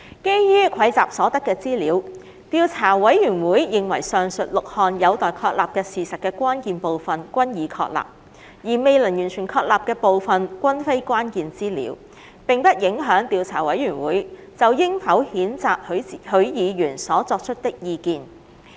基於蒐集所得的資料，調査委員會認為上述6項有待確立的事實的關鍵部分均已確立，而未能完全確立的部分均非關鍵資料，並不影響調查委員會就應否譴責許議員所提出的意見。